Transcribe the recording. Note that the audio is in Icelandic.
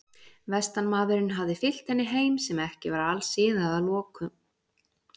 Vestanmaðurinn hafði fylgt henni heim sem ekki var alsiða að loknum slíkum nóttum.